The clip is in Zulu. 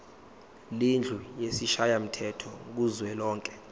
lendlu yesishayamthetho kuzwelonke